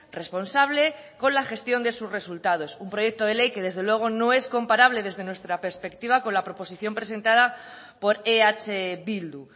responsable con la gestión de sus resultados un proyecto de ley que desde luego no es comparable desde nuestra perspectiva con la proposición presentada por eh bildu